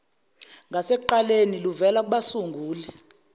ngasekuqaleni luvela kubasunguli